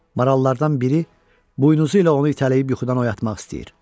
Marallardan biri buynuzu ilə onu itələyib yuxudan oyatmaq istəyir.